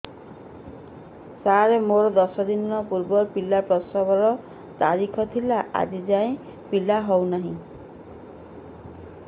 ସାର ମୋର ଦଶ ଦିନ ପୂର୍ବ ପିଲା ପ୍ରସଵ ର ତାରିଖ ଥିଲା ଆଜି ଯାଇଁ ପିଲା ହଉ ନାହିଁ